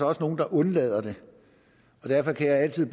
også nogle der undlader det derfor kan jeg altid